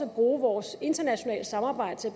at bruge vores internationale samarbejde til